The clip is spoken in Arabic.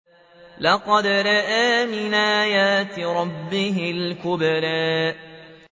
لَقَدْ رَأَىٰ مِنْ آيَاتِ رَبِّهِ الْكُبْرَىٰ